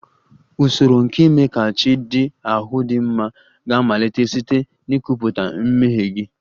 Usoro nke ime ka chi ndị ahụ dị mma ga-amalite site n'ikwupụta mmehie gị